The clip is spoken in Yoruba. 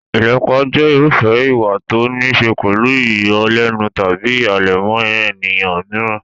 Ìlépa jẹ́ irúfẹ́ ìwà tó níí ṣe pẹ̀lú ìyọlẹ́nu tàbí ìhàlẹ̀ mọ́ ènìyàn mìíràn.